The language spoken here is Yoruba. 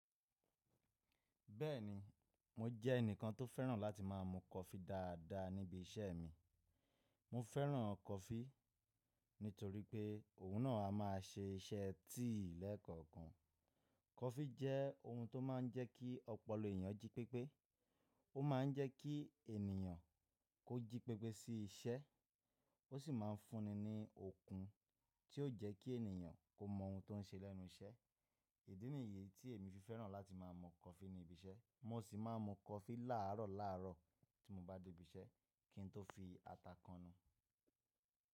Bẹ́ẹ̀ni, mo jẹ́ ẹnìkan tó fẹ́ràn láti má a mu coffee dáadáa níbi iṣẹ́ mi. Mo fẹ́ràn coffee nítorí pé òun náà a má a ṣe iṣẹ́ tíì lẹ́ẹ̀kọ̀kan. Coffee jẹ́ ohun tó má a ń jẹ́ kí ọpọlọ ènìyàn jí pépé. Ó má a ń jẹ́ kí ènìyàn kó jí pépé sí iṣẹ́. Ó sì má a ń fúnni ní okun tí ó jẹ́ kí ènìyàn kó mọ ohun tó ń ṣe lẹ́nu iṣẹ́. Ìdí nìyé tí èmi fi fẹ́ràn láti má a mu coffee ní ibi iṣẹ́. Mo sì má a mu coffee láàárọ̀ láàárọ̀ tí mo bá dé ibi iṣẹ́ kí n tó fi ata kanu.